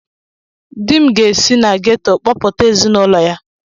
Dim ga-esi na geto kpọpụta ezinụlọ ya.